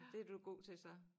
Det du god til så